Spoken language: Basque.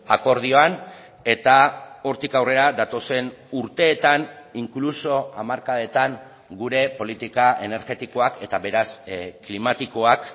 akordioan eta hortik aurrera datozen urteetan incluso hamarkadetan gure politika energetikoak eta beraz klimatikoak